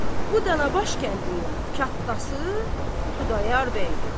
Bu Dənəbaş kəndinin kətdası Xudayar bəydir.